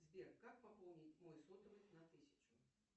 сбер как пополнить мой сотовый на тысячу